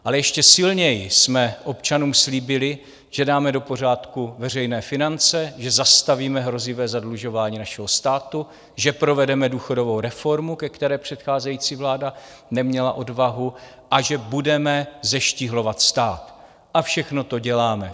Ale ještě silněji jsme občanům slíbili, že dáme do pořádku veřejné finance, že zastavíme hrozivé zadlužování našeho státu, že provedeme důchodovou reformu, ke které předcházející vláda neměla odvahu, a že budeme zeštíhlovat stát, a všechno to děláme.